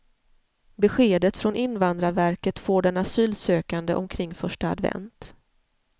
Beskedet från invandrarverket får den asylsökande omkring första advent.